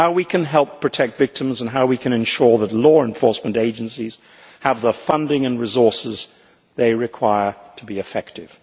how we can help protect victims and how we can ensure that law enforcement agencies have the funding and resources they require to be effective.